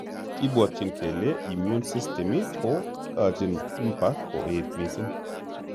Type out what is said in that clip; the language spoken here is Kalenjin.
Kibwatyin kele immune system ko kachin mpa koet missing